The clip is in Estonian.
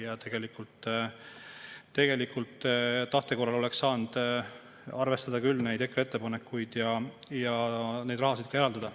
Ja tegelikult tahte korral oleks saanud arvestada EKRE ettepanekuid ja seda raha ka eraldada.